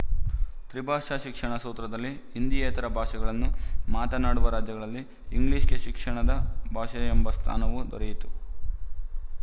ತ್ರಿಭಾಷಾ ಶಿಕ್ಷಣ ಸೂತ್ರದಲ್ಲಿ ಹಿಂದಿಯೇತರ ಭಾಷೆಗಳನ್ನು ಮಾತನಾಡುವ ರಾಜ್ಯಗಳಲ್ಲಿ ಇಂಗ್ಲಿಶ‍ಗೆ ಶಿಕ್ಷಣದ ಭಾಷೆ ಎಂಬ ಸ್ಥಾನವೂ ದೊರೆಯಿತು